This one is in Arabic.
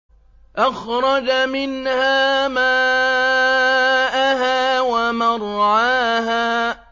أَخْرَجَ مِنْهَا مَاءَهَا وَمَرْعَاهَا